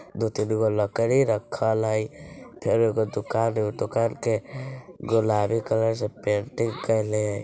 दो-तीन गो लकड़ी रक्खल हई फेर ओके दुकान हो दुकान के गुलाबी कलर से पेंटिंग कइले हे।